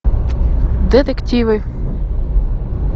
детективы